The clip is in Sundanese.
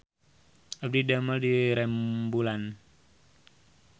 Abdi didamel di Remboelan